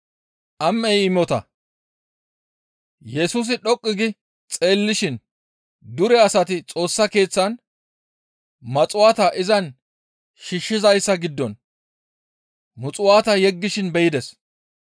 Yesusi dhoqqu gi xeellishin dure asati Xoossa Keeththen muxuwaata izan shiishshizayssa giddon muxuwaata yeggishin be7ides.